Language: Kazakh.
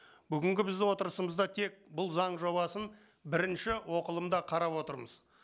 бүгінгі біздің отырысымызда тек бұл заң жобасын бірінші оқылымда қарап отырмыз